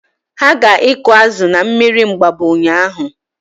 Ha ga ịkụ azụ na mmiri Mgbabọ ụnyaahụ